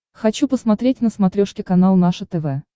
хочу посмотреть на смотрешке канал наше тв